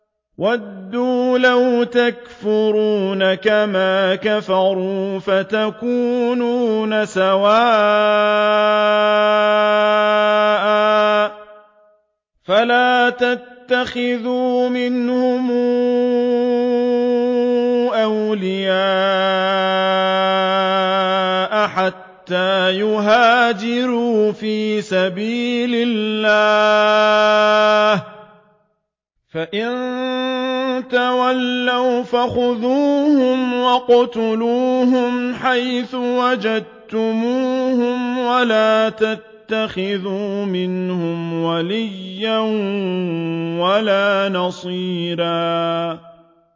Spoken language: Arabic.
وَدُّوا لَوْ تَكْفُرُونَ كَمَا كَفَرُوا فَتَكُونُونَ سَوَاءً ۖ فَلَا تَتَّخِذُوا مِنْهُمْ أَوْلِيَاءَ حَتَّىٰ يُهَاجِرُوا فِي سَبِيلِ اللَّهِ ۚ فَإِن تَوَلَّوْا فَخُذُوهُمْ وَاقْتُلُوهُمْ حَيْثُ وَجَدتُّمُوهُمْ ۖ وَلَا تَتَّخِذُوا مِنْهُمْ وَلِيًّا وَلَا نَصِيرًا